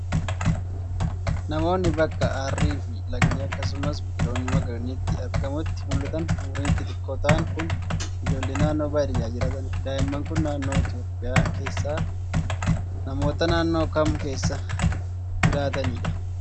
Namoonni bakka harri fi lagni akkasumas biqiloonni magariisni itti argamutti mul'atan umuriin xixiqqoo ta'an kun, ijoollee naannoo baadiyaa jiratanii dha. Daa'imman kun, naannoo Itoophiyaa keessaa namoota naannoo kam keessa jiraatanii dha?